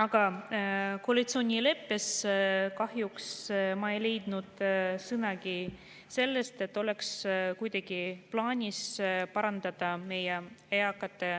Aga koalitsioonileppest kahjuks ei leidnud ma sõnagi selle kohta, et oleks kuidagi plaanis parandada meie eakate